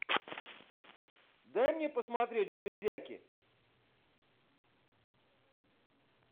дай мне посмотреть железяки